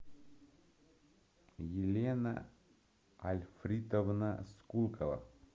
елена альфритовна скулкова